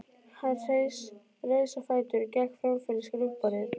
Hann reis á fætur og gekk fram fyrir skrifborðið.